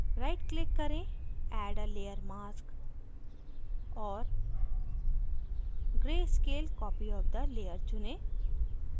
right click करें add a layer mask और gray scale copy of the layer चुनें